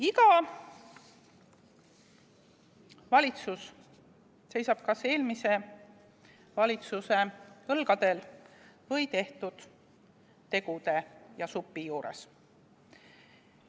Iga valitsus seisab kas eelmise valitsuse õlgadel või tehtud tegude ja supi juures.